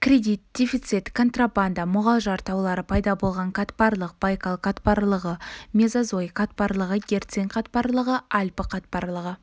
кредит дефицит контрабанда мұғалжар таулары пайда болған қатпарлық байкал қатпарлығы мезозой қатпарлығы герцин қатпарлығы альпі қатпарлығы